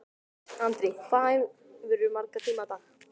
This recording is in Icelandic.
Andri: Hvað æfirðu marga tíma á dag?